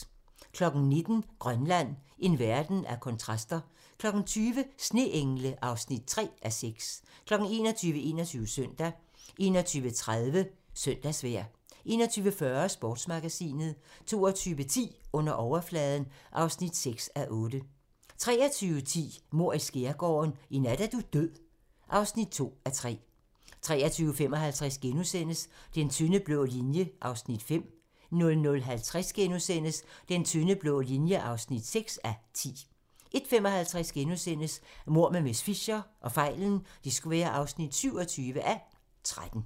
19:00: Grønland - en verden af kontraster 20:00: Sneengle (3:6) 21:00: 21 Søndag 21:36: Søndagsvejr 21:40: Sportsmagasinet 22:10: Under overfladen (6:8) 23:10: Mord i Skærgården: I nat er du død (2:3) 23:55: Den tynde blå linje (5:10)* 00:50: Den tynde blå linje (6:10)* 01:55: Mord med miss Fisher (27:13)*